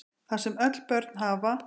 Það sem öll börn hafa